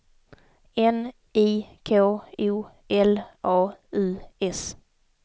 N I K O L A U S